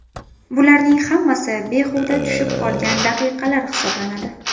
Bularning hammasi behuda tushib qolgan daqiqalar hisoblanadi.